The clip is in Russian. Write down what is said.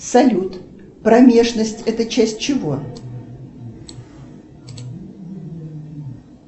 салют промежность это часть чего